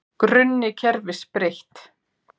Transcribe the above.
Grunni kerfis breytt